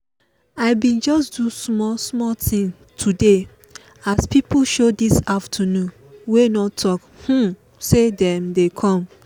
i bin just do small small thing today as pipo show this afternoon wey no talk um say dem dey com.